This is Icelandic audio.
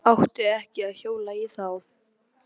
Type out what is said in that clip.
Átti ekki að hjóla í þá.